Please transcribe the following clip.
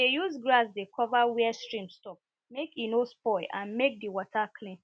we dey use grass dey cover where stream stop make e no spoil and make di water clean